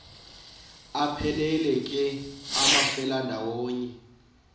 aphelela ke amafelandawonye